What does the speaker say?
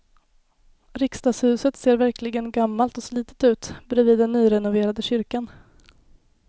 Riksdagshuset ser verkligen gammalt och slitet ut bredvid den nyrenoverade kyrkan.